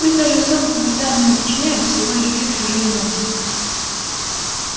пусть даже особого вреда они не причиняют всего лишь пьют чужие эмоции